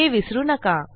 हे विसरू नका